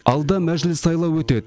алда мәжіліс сайлауы өтеді